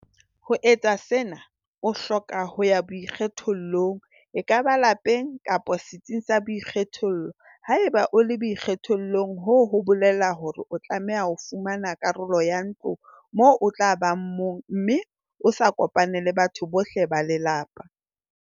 Ho etsa sena, o hloka ho ya boikgethollong - ekaba lapeng kapa setsing sa boikgethollo."Haeba o le boikgethollong hoo ho bolela hore o tlameha ho fumana karolo ya ntlo moo o tla bang mong mme o sa kopane le batho bohle ba lelapa."